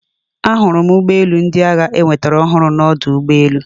Ahụrụ m ụgbọ elu ndị agha enwetara ọhụrụ na ọdụ ụgbọ elu